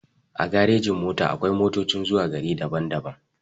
A garejin-mota akwai motocin zuwa gari daban-daban.